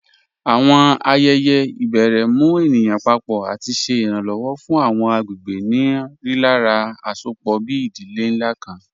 Awọn ayẹyẹ ibèrè mù ènìyàn pàpọ̀ àti ṣè iranlọwọ̀ fún awọn agbegbe ni rílàrá àṣọpọ̀, bí ìdílé nlá kàn.